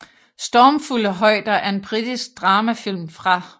Stormfulde højder er en britisk dramafilm fra